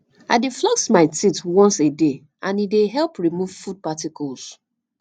i dey floss my teeth once a day and e dey help remove food particles